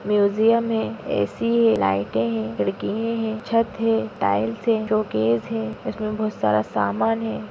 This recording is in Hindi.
म्युझीयम है एसी है लाइटे है खिड़किये है छत है टाइल्स है शोकेस है इसमे बहुत सारा सामान है।